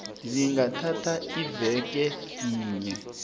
zingathatha iveke yinye